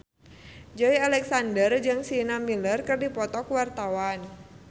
Joey Alexander jeung Sienna Miller keur dipoto ku wartawan